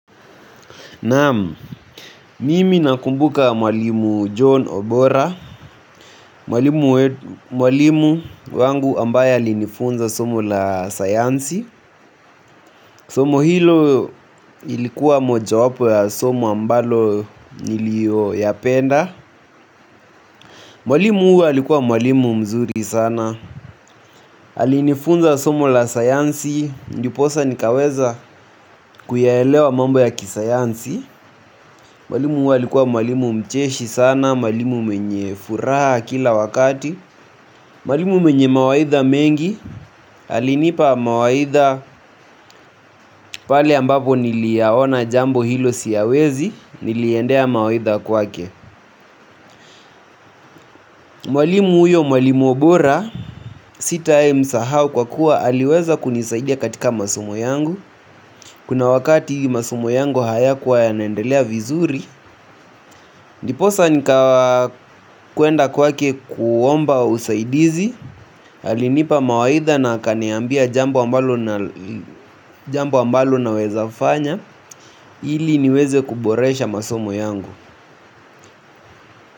Naam, mimi nakumbuka mwalimu john obora mwalimu mwalimu wangu ambaye alinifunza somo la sayansi. Somo hilo ilikuwa moja wapo ya somo ambalo nilio yapenda. Mwalimu huyu alikuwa mwalimu mzuri sana. Alinifunza somo la sayansi. Ndiposa nikaweza kuyaelewa mambo ya kisayansi. Mwalimu huyu alikuwa mwalimu mcheshi sana. Mwalimu mwenye furaha kila wakati. Mwalimu mwenye mawaidha mengi alinipa mawaidha pale ambapo niliyaona jambo hilo siyawezi. Niliendea mawaidha kwake mwalimu huyo mwalimu obora. Sitai msahau kwa kuwa aliweza kunisaidia katika masomo yangu. Kuna wakati masomo yangu hayakuwa yanaendelea vizuri. Ndiposa nikawa kuenda kwake kuomba usaidizi alinipa mawaidha na akaniambia jambo ambalo naweza fanya. Ili niweze kuboresha masomo yangu.